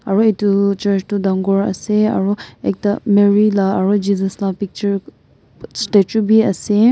aru etu church tu dangor ase aru ekta marry lah aru jesus lah picture statue bhi ase.